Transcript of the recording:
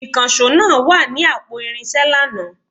Ìkànsó náà wa ninu àpò irinsé lànà